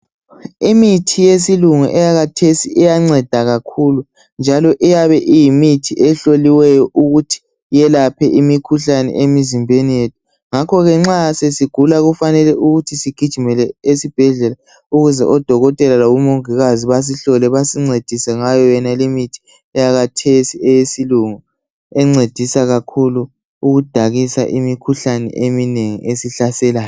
Imithi yesilungu eyakhathesi iyanceda kakhulu njalo iyabe iyimithi ehloliweyo ukuthi yelaphe imikhuhlane emzimbeni yethu. Ngakho ke nxa sesigula kufanele ukuthi sigijimele esibhedlela ukuze odokotela labomongikazi basihlole basincedisa ngayole imithi yakhathesi eyesilungu encedisa kakhulu ukudakisa imikhuhlane eminengi esihlaselayo